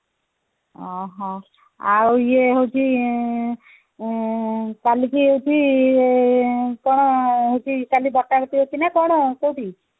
ଅହହୋ ଆଉ ଇଏ ହଉଛି ଆଁ କାଲି କି ହଉଛି ଆଁ କଣ ହଉଛି କଣ ବଟାବଟି ହଉଛି ନା କଣ କୋଉଠି